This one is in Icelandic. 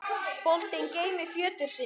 foldin geymi fjötur sinn.